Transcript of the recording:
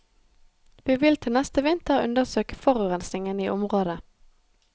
Vi vil til neste vinter undersøke forurensingen i området.